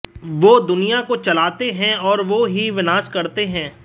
वो दुनिया को चलाते हैं और वो ही विनाश करते हैं